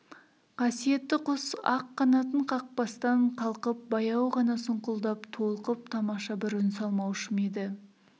қасиетті құс ақ қанатын қақпастан қалқып баяу ғана сұңқылдап толқып тамаша бір үн салмаушы ма еді